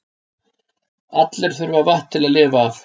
allir þurfa vatn til að lifa af